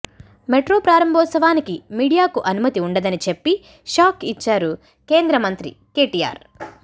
metro ప్రారంభోత్సవానికి మీడియాకు అనుమతి ఉండదని చెప్పి షాక్ ఇచ్చారు మంత్రి కేటీఆర్